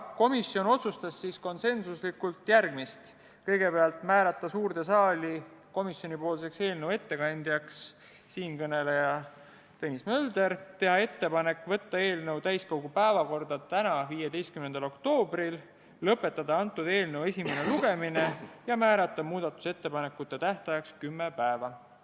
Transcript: Komisjon otsustas konsensuslikult järgmist: kõigepealt otsustati määrata suures saalis komisjoni ettekandjaks siinkõneleja ehk Tõnis Mölder; otsustati teha ettepanek saata eelnõu täiskogu päevakorda tänaseks, 15. oktoobriks; otsustati teha ettepanek lõpetada eelnõu esimene lugemine ja määrata muudatusettepanekute esitamise tähtajaks kümme päeva.